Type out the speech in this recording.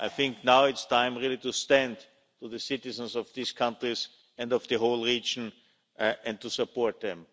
I think now it's time really to stand with the citizens of these countries and of the whole region and to support them.